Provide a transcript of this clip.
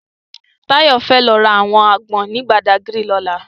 Tayo fè lò rá áwòn ágbòn ni Bàdágiri lòlá